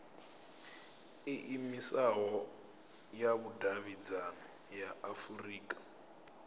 iimisaho ya vhudavhidzano ya afurika